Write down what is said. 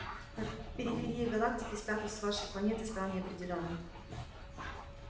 на периферии галактики статус вашей планеты стал неопределённым